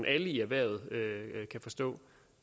alle i erhvervet kan forstå